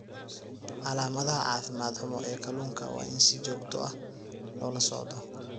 Calaamadaha caafimaad xumo ee kalluunka waa in si joogto ah loola socdo.